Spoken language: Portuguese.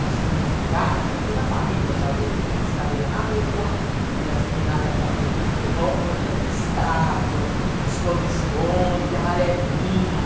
As donas de casa, toda a família, os adultos, punham as cadeiras na rua e as meninadas ficavam brincando de roda, de estátua, de esconde-esconde, de amarelinha.